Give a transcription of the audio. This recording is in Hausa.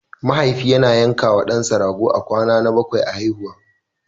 Mahaifi yana yankawa ɗansa rago a kwana na bakwai a haihuwarsa.